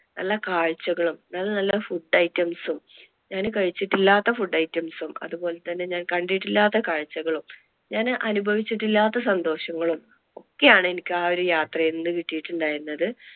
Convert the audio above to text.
നല്ല കാഴ്ചകളും, നല്ല നല്ല food items ഞാൻ കഴിച്ചിട്ടില്ലാത്ത food items ഉം അതുപോലെ തന്നെ ഞാൻ കണ്ടിട്ടില്ലാത്ത കാഴ്ചകളും, ഞാൻ അനുഭവിച്ചിട്ടില്ലാത്ത സന്തോഷങ്ങളും ഒക്കെ ആണ് എനിക്ക് ആ യാത്രയിൽ നിന്ന് കിട്ടിട്ടുണ്ടായിരുന്നത്.